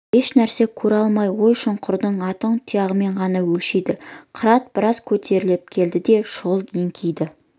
еш нәрсені көре алмай ой-шұңқырды аттың тұяғымен ғана өлшейді қырат біраз көтеріліп келді де шұғыл еңкейді